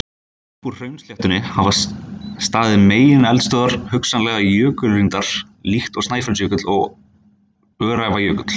Upp úr hraunsléttunni hafa staðið megineldstöðvar, hugsanlega jökulkrýndar líkt og Snæfellsjökull og Öræfajökull.